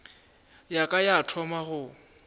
ya ka ya thoma go